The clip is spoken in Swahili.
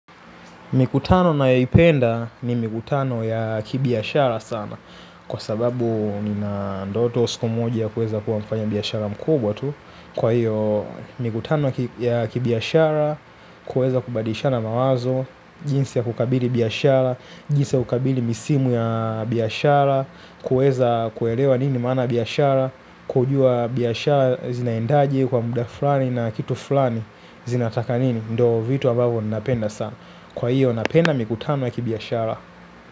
Mikutano ninayoipenda ni mikutano ya kibiashara sana. Kwa sababu nina ndoto siku moja kuweza kuwa mfanyabiashara mkubwa tu. Kwa hiyo, mikutano ya kibiashara kuweza kubadishana mawazo, jinsi ya kukabili biashara, jinsi ya kukabili misimu ya biashara, kuweza kuelewa nini mana biashara, kujua biashara zinaendaji kwa muda fulani na kitu fulani zinataka nini. Ndo vitu ambavo napenda sana. Kwa hiyo napenda mikutano ya kibiashara.